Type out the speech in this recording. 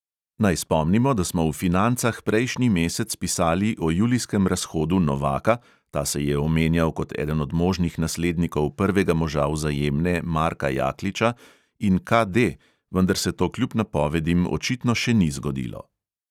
Naj spomnimo, da smo v financah prejšnji mesec pisali o julijskem razhodu novaka (ta se je omenjal kot eden od možnih naslednikov prvega moža vzajemne marka jakliča) in KD, vendar se to kljub napovedim očitno še ni zgodilo.